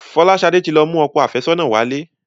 Folashade tí lọ mú òkò afesona wálé